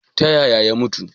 Ta yaya ya mutu?